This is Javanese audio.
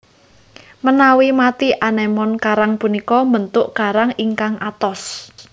Menawi mati anémon karang punika mbentuk karang ingkang atos